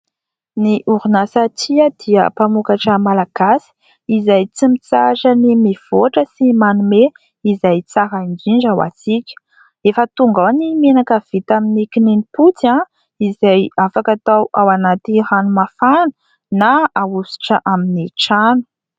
Ny orinasa Tia dia mpamokatra malagasy, izay tsy mitsahatra ny mivoatra sy manome izay tsara indrindra ho antsika. Efa tonga ao ny menaka vita amin'ny kininimpotsy, izay afaka atao ao anaty rano mafana, na ahosotra amin'ny trano.